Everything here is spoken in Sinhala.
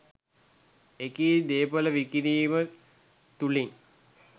එකී දේපළ විකිණීම තුලින්